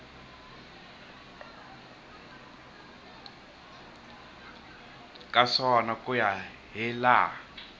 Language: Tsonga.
ka swona ku ya hilaha